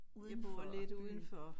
Udenfor byen